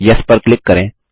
yes पर click करें